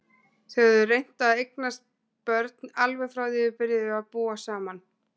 Þau höfðu reynt að eignast börn alveg frá því þau byrjuðu að búa saman.